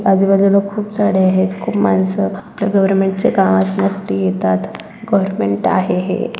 आजूबाजूला खूप झाडं आहेत खूप माणसं आपला गवर्नमेंट च काम साठी येतात गवर्नमेंट आहे हे.